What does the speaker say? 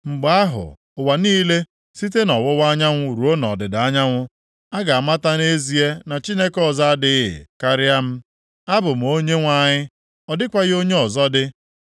Mgbe ahụ, ụwa niile, site nʼọwụwa anyanwụ ruo nʼọdịda anyanwụ, ga-amata nʼezie na Chineke ọzọ adịghị, karịa m. Abụ m Onyenwe anyị, ọ dịghịkwa onye ọzọ dị.